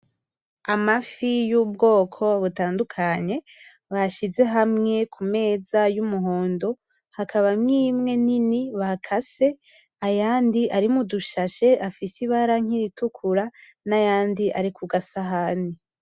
Amafi y'ubwoko butandukanye bashize hamwe kumeza y'umuhondo , hakabamwo imwe nini bakase , ayandi ari mudushashe afise ibara nk'iritukura n'ayandi ari kugasahani.